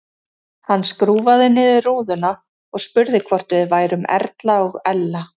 Hann skrúfaði niður rúðuna og spurði hvort við værum Erla og Ella.